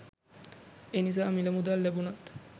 එනිසා මිල මුදල් ලැබුණත්